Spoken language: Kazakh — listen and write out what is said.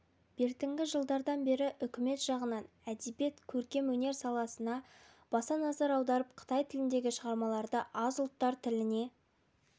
бертінгі жылдардан бері үкімет жағынан әдебиет-көркемөнер саласына баса назар аударып қытай тіліндегі шығармаларды аз ұлттар тіліне